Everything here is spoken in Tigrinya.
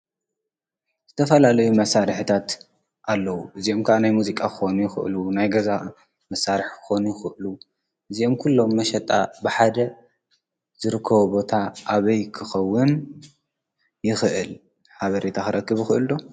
ዝተፋላለዩ መሳራሒታት ኣለዉ። እዚኦም ከዓ ናይ ሙዚቃ ክኾኑ ይኽእሉ ናይ ገዛ መሳርሒ ክኾኑ ይክእሉ እዚኦም ኩሎም መሸጣ ብሓደ ዝርከቦ ቦታ ኣበይ ክኸዉን ይኽእል? ሓበሬታ ክረክብ ይኽእል ዶ?